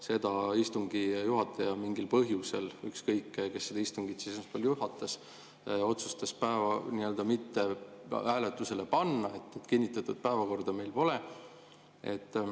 Seda istungi juhataja mingil põhjusel – ükskõik, kes seda istungit juhatas – otsustas mitte hääletusele panna, nii et kinnitatud päevakorda meil pole.